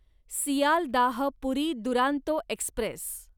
Sealdah Puri Duronto Express